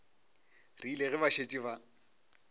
rile ge ba šetše ba